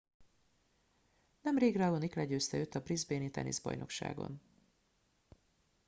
nemrég raonic legyőzte őt a brisbane i teniszbajnokságon